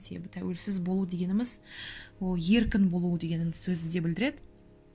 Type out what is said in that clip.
себебі тәуелсіз болу дегеніміз ол еркін болуы деген сөзді де білдіреді